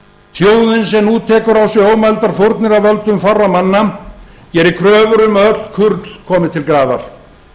þjóðin sem nú tekur á sig ómældar fórnir af völdum fárra manna gerir kröfur um að öll kurl komi til grafar